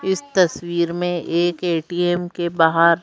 इस तस्वीर में एक ए_टी_एम के बाहर --